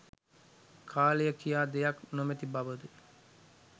කාලය කියා දෙයක් නොමැති බවද?